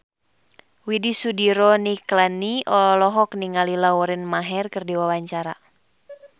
Widy Soediro Nichlany olohok ningali Lauren Maher keur diwawancara